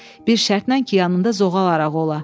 Bir şərtlə ki, yanında zoğal arağı ola.